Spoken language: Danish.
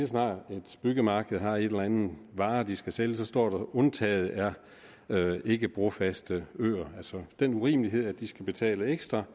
snart et byggemarked har en eller anden vare de skal sælge så står der undtaget er ikkebrofaste øer altså den urimelighed at de skal betale ekstra